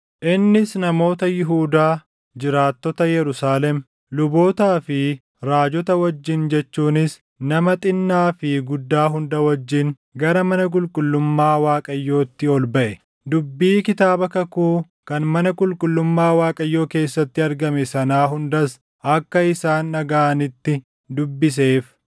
Innis namoota Yihuudaa, jiraattota Yerusaalem, lubootaa fi raajota wajjin jechuunis nama xinnaa fi guddaa hunda wajjin gara mana qulqullummaa Waaqayyootti ol baʼe. Dubbii Kitaaba Kakuu kan mana qulqullummaa Waaqayyoo keessatti argame sanaa hundas akka isaan dhagaʼanitti dubbiseef.